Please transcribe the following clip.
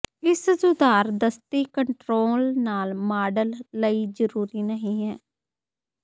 ਇਸ ਸੁਧਾਰ ਦਸਤੀ ਕੰਟਰੋਲ ਨਾਲ ਮਾਡਲ ਲਈ ਜ਼ਰੂਰੀ ਨਹੀ ਹੈ